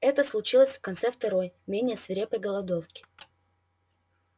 это случилось в конце второй менее свирепой голодовки